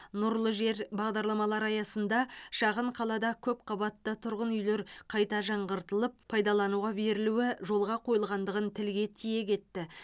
нұрлы жер бағдарламалары аясында шағын қалада көпқабатты тұрғын үйлер қайта жаңғыртылып пайдалануға берілуі жолға қойылғандығын тілге тиек етті